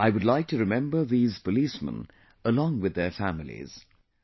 Today I would like to remember these policemen along with their families